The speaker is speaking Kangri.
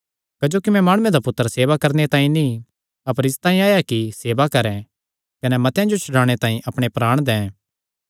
क्जोकि मैं माणुये दा पुत्तर सेवा करवाणे तांई नीं अपर इसतांई आया कि सेवा करैं कने मतेआं जो छड्डाणे तांई अपणे प्राण दैं